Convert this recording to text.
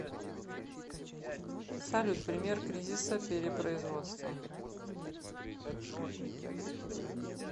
салют пример кризиса перепроизводства